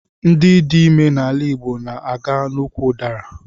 Ndị dị ime n'ala Igbo na aga n'úkwù udara